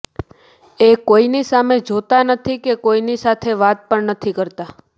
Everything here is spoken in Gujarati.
એ કોઈની સામે જોતા નથી કે કોઈની સાથે વાત પણ નથી કરતા